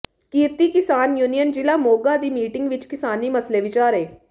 ਕਿਰਤੀ ਕਿਸਾਨ ਯੂਨੀਅਨ ਜ਼ਿਲ੍ਹਾ ਮੋਗਾ ਦੀ ਮੀਟਿੰਗ ਵਿਚ ਕਿਸਾਨੀ ਮਸਲੇ ਵਿਚਾਰੇ